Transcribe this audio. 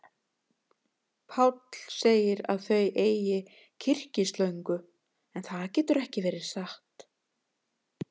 Páll segir að þau eigi kyrkislöngu, en það getur ekki verið satt.